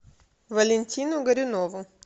валентину горюнову